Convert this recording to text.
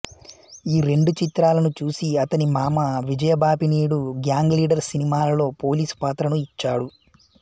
ఈ రెండు చిత్రాలను చూసి అతని మామ విజయబాపినీడు గ్యాంగ్ లీడర్ సినిమాలో పోలీసు పాత్రను ఇచ్చాడు